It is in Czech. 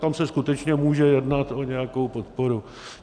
Tam se skutečně může jednat o nějakou podporu.